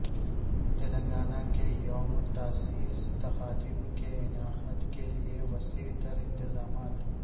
تلنگانہ کے یوم تاسیس تقاریب کے انعقادکیلئے وسیع تر انتظامات